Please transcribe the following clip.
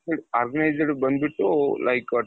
ಬಂದ್ಬಿಟ್ಟು like